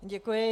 Děkuji.